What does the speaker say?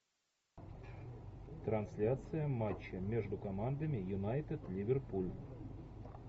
трансляция матча между командами юнайтед ливерпуль